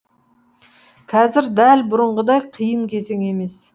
қазір дәл бұрынғыдай қиын кезең емес